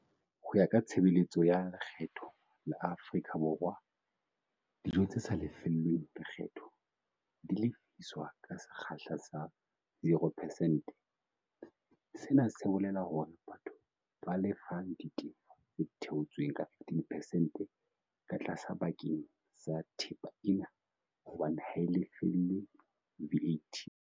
Ho ya ka Tshebeletso ya Lekgetho ya Afrika Borwa, dijo tse sa lefellweng lekgetho di lefiswa ka sekgahla sa 0 percent - sena se bolela hore batho ba lefa ditefo tse theotsweng ka 15 percent ka tlase bakeng sa thepa ena hobane ha e lefellwe VAT.